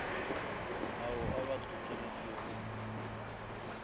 ao a ba tlhotlheleditšego go